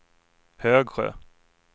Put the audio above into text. Högsjö